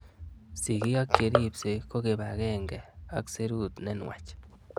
Sig'ik ak che ripsei ko kipag'eng'e ak serut ne nuach